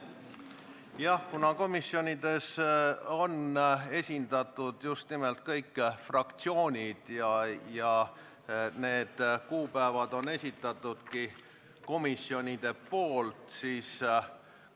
Jah, aga komisjonides on esindatud kõik fraktsioonid ja need kuupäevad on komisjonide esitatud.